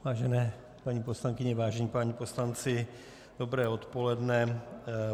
Vážené paní poslankyně, vážení páni poslanci, dobré odpoledne.